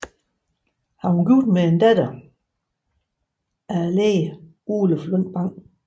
Han var gift med en datter af lægen Oluf Lundt Bang